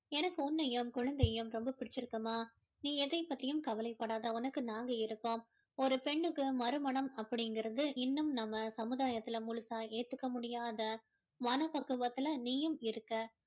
எனக்கு உன்னையும் குழந்தையையும் ரொம்ப பிடிச்சிருக்கும்மா நீ எதைப் பத்தியும் கவலைப்படாத உனக்கு நாங்க இருக்கோம் ஒரு பெண்ணுக்கு மறுமணம் அப்படிங்கறது இன்னும் நம்ம சமுதாயத்துல முழுசா ஏத்துக்க முடியாத மனப்பக்குவத்துல நீயும் இருக்க